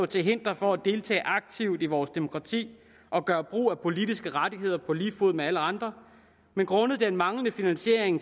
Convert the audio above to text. til hinder for at deltage aktivt i vores demokrati og gøre brug af politiske rettigheder på lige fod med alle andre grundet den manglende finansiering